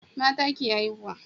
mata ke haihuwa